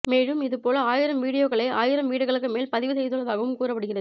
மேலும் இது போல ஆயிரம் வீடியோக்களை ஆயிரம் வீடுகளுக்கு மேல் பதிவு செய்துள்ளதாகவும் கூறப்படுகிறது